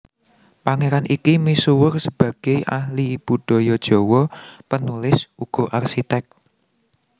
Pangeran iki misuwur sebagei ahli budaya Jawa penulis uga arsitek